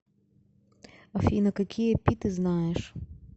афина какие пи ты знаешь